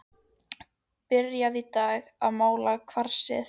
Byrjað í dag að mala kvarsið.